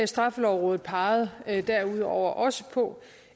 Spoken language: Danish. straffelovrådet pegede derudover også på